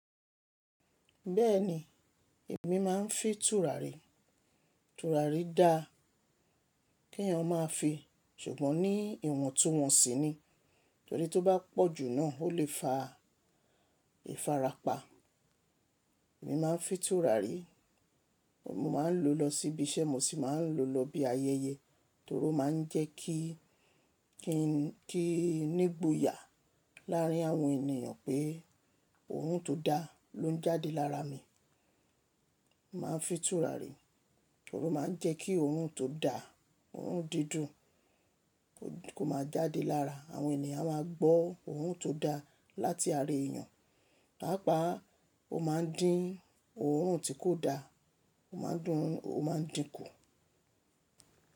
Bẹ́ẹ̀ni, èmi máa ń fi tùràrí. Tùràrí da kí ẹyan ma fi ṣùgbọ́n ní ìwọ̀n tó wọ́n sí ni. Torí tí ó bá pọ̀ jù náà ó lè fa ìfarapa. Èmi máa ń fi tùràrí, mo máa ń lò lọ síbi iṣẹ́, mo sì máa ń lò lọ bí ayẹyẹ torí ó máa ń jẹ́ kí i nígboyà láàrín àwọn ènìyàn pé orun tó da ló ń jáde lára mi. Mo máa ń fi tùràrí torí ó máa ń jẹ́ kí ohun tó da, orun dídùn kó máa jáde lára. Àwọn ènìyàn máa gbọ́ orun tó da láti ara èèyàn, páápàá ó máa ń dín ohun tí kò da, ó máa ń dín kù.